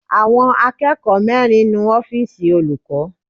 Àwọn akẹ́kọ̀ọ́ mẹrin nu ọ́fìsì olùkọ́.